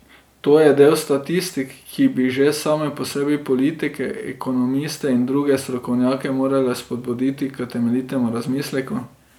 To je del statistik, ki bi že same po sebi politike, ekonomiste in druge strokovnjake morale spodbuditi k temeljitemu razmisleku.